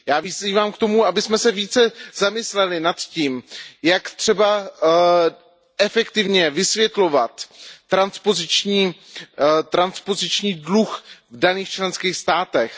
Já vyzývám k tomu, abychom se více zamysleli nad tím, jak třeba efektivně vysvětlovat transpoziční dluh v daných členských státech.